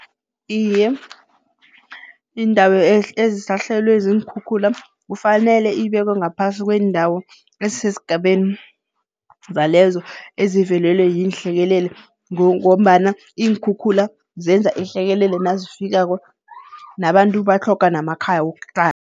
Iye, iindawo ezisahlelwe ziinkhukhula kufanele ibekwe ngaphasi kweendawo ezisesigabeni zalezo ezivelelwe yiinhlekelele Ngombana iinkhukhula zenza ihlekelele nazifikako nabantu batlhoga namakhaya wokuhlala.